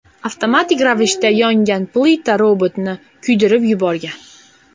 Avtomatik ravishda yongan plita robotni kuydirib yuborgan.